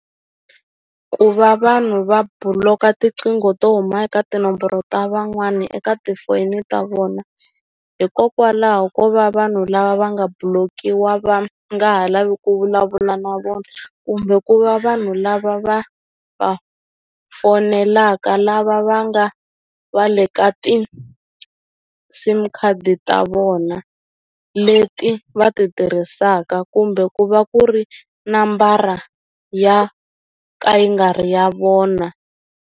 Ku va vanhu va buloka tiqingho to huma eka tinomboro ta van'wani eka tifoni ta vona hikokwalaho ko va vanhu lava va nga block-iwa va nga ha lavi ku vulavula na vona kumbe ku va vanhu lava va va fonelaka lava va nga va le ka ti-sim card ta vona leti va ti tirhisaka kumbe ku va ku ri nambara ya ka yi nga ri ya vona.